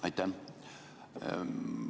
Aitäh!